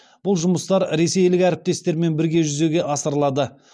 бұл жұмыстар ресейлік әріптестерімен бірге жүзеге асырылады